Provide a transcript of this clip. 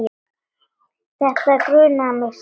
Þetta grunaði mig, sagði mamma.